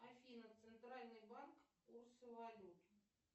афина центральный банк курсы валют